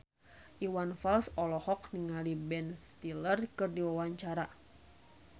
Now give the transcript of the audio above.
Iwan Fals olohok ningali Ben Stiller keur diwawancara